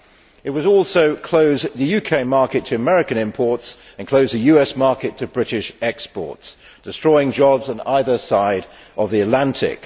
It would also close the UK market to American imports and close the US market to British exports, destroying jobs on either side of the Atlantic.